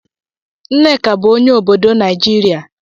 Nneka bụ onye obodo Naijiria.